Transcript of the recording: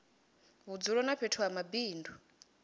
vhudzulo na fhethu ha mabindu